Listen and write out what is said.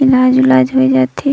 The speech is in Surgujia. इलाज-उलाज होय जात हे।